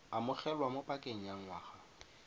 amogelwa mo pakeng ya ngwaga